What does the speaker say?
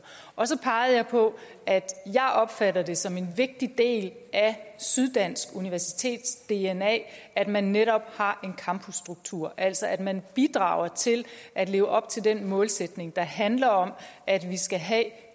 og så pegede jeg på og jeg opfatter det som en vigtig del at syddansk universitets dna at man netop har en campusstruktur altså at man bidrager til at leve op til den målsætning der handler om at vi skal have